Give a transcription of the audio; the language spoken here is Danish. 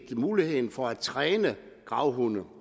muligheden for at træne gravhunde